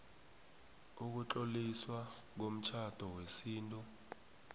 ukutloliswa komtjhado wesintu